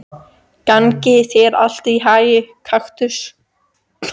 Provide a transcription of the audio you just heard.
Gangi þér allt í haginn, Kaktus.